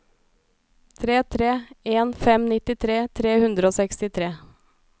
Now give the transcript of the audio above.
tre tre en fem nittitre tre hundre og sekstitre